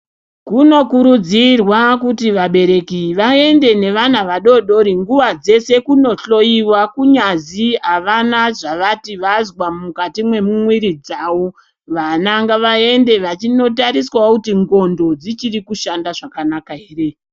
Kunokurudzirwa kuti vabereki vaende nevana vadodori nguwa dzeshe kunohloyiwa, kunyazi avana zvavati vazwa mukati memwiri dzavo, vana ngavaende vachinotariswawo kuti ndxondo dzichiri kushanda zvakanaka ere.